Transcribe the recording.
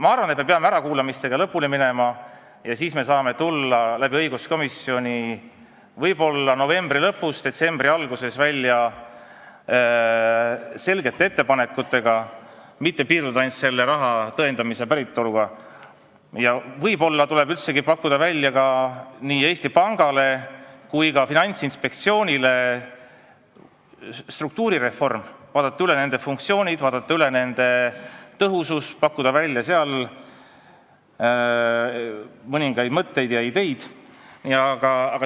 Ma arvan, et me peame ärakuulamistega lõpule jõudma ja siis me saame tulla õiguskomisjonis novembri lõpus või detsembri alguses välja selgete ettepanekutega, et ei tule piirduda ainult raha päritolu tõendamisega, ja võib-olla tuleb üldsegi pakkuda nii Eesti Panga kui ka Finantsinspektsiooni struktuurireformi, vaadata üle nende funktsioonid ja tõhusus, pakkuda seal mõningaid mõtteid ja ideid.